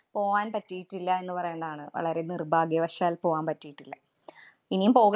പോവാന്‍ പറ്റിയിട്ടില്ല എന്നു പറയേണ്ടാണ്. വളരെ നിര്‍ഭാഗ്യവശാല്‍ പോകാന്‍ പറ്റിയിട്ടില്ല. ഇനിയും പോക~